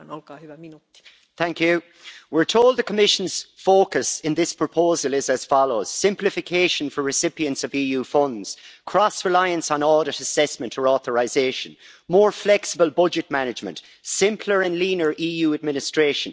Madam President, we're told the Commission's focus in this proposal is as follows simplification for recipients of EU funds, cross reliance on audit assessment for authorisation, more flexible budget management and simpler and leaner EU administration.